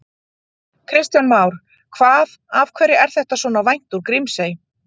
Kristján Már: Hvað, af hverju er þetta svona vænt úr Grímsey?